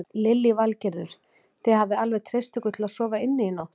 Lillý Valgerður: Þið hafið alveg treyst ykkur til að sofa inni í nótt?